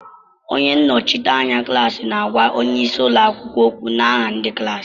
Onye nnọchiteanya klaasi na-àgwá onyeisi ụlọakwụkwọ ókwù n'aha ndị klaasi